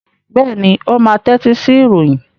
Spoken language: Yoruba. Bẹ́ẹ̀ ni, ó máa tẹ́tí sí ìròyìn.